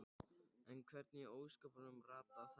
En hvernig í ósköpunum rata þær heim?